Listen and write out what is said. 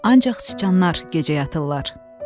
Ancaq canlar gecə yatırlar.